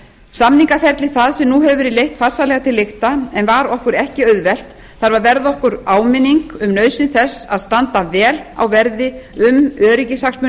samningaferli það sem nú hefur verið leitt farsællega til lykta en var okkur ekki auðvelt þarf að verða okkur áminning um nauðsyn þess að standa vel á verði um öryggishagsmuni